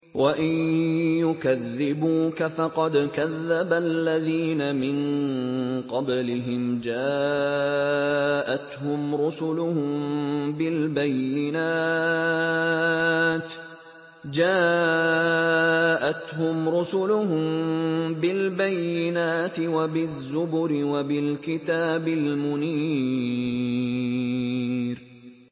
وَإِن يُكَذِّبُوكَ فَقَدْ كَذَّبَ الَّذِينَ مِن قَبْلِهِمْ جَاءَتْهُمْ رُسُلُهُم بِالْبَيِّنَاتِ وَبِالزُّبُرِ وَبِالْكِتَابِ الْمُنِيرِ